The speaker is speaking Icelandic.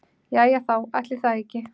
Jæja þá, ætli það ekki.